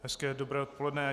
Hezké dobré odpoledne.